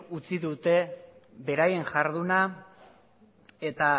utzi dute beraien jarduna eta